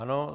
Ano.